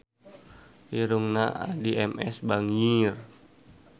Irungna Addie MS bangir